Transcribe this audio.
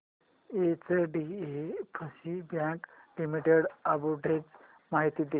HDFC bank limited arbitrage माहिती दे